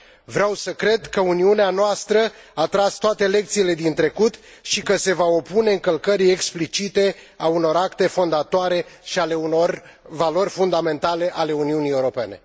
Vreau să cred că Uniunea noastră a tras toate lecțiile din trecut și că se va opune încălcării explicite a unor acte fondatoare și a unor valori fundamentale ale Uniunii Europene.